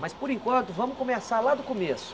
Mas, por enquanto, vamos começar lá do começo.